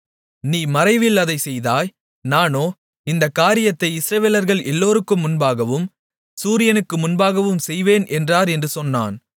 நீ மறைவில் அதைச் செய்தாய் நானோ இந்தக் காரியத்தை இஸ்ரவேலர்கள் எல்லோருக்கும் முன்பாகவும் சூரியனுக்கு முன்பாகவும் செய்வேன் என்றார் என்று சொன்னான்